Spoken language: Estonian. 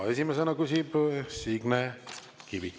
Esimesena küsib Signe Kivi.